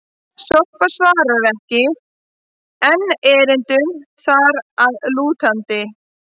Sorpa svarar ekki enn erindum þar að lútandi!